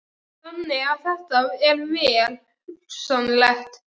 Þannig að þetta er vel hugsanlegt?